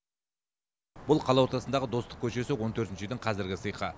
бұл қала ортасындағы достық көшесі он төртінші үйдің қазіргі сиқы